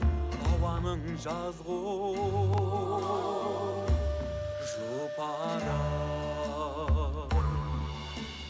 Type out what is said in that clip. ауаның жазғы оу жұпарын